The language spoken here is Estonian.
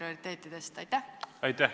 Aitäh!